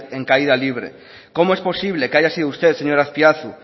en caída libre cómo es posible que haya sido usted señor azpiazu